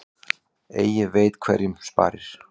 Eigi veit hverjum sparir.